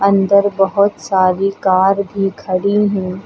अंदर बहोत सारी कार भी खड़ी हैं।